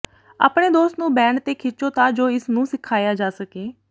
ਆਪਣੇ ਦੋਸਤ ਨੂੰ ਬੈਂਡ ਤੇ ਖਿੱਚੋ ਤਾਂ ਜੋ ਇਸ ਨੂੰ ਸਿਖਾਇਆ ਜਾ ਸਕੇ